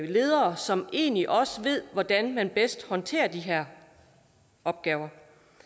ledere som egentlig også ved hvordan man bedst håndterer de her opgaver